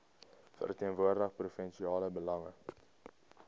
verteenwoordig provinsiale belange